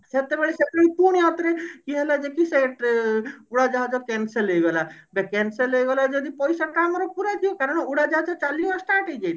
ସେତେବେଳେ ସେତେବେଳେ ପୁଣି ଆଉ ଥରେ ଇଏ ହେଲା ଯେ କି ସେ ଟ୍ରେ ଉଡାଜାହାଜ cancel ହେଇଗଲା ତ cancel ହେଇଗଲା ଯଦି ପଇସା ଟା ଆମର ଫେରେଇ ଦିଅ କାରଣ ଉଡାଜାହାଜ ଚାଲିବା start ହେଇ ଯାଇଥିଲା